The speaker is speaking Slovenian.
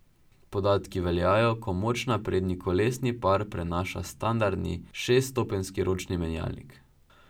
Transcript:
Podatki veljajo, ko moč na prednji kolesni par prenaša standardni šeststopenjski ročni menjalnik.